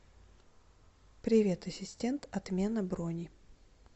привет ассистент отмена брони